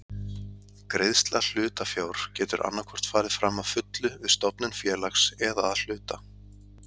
Greiðsla hlutafjár getur annað hvort farið fram að fullu við stofnun félags eða að hluta.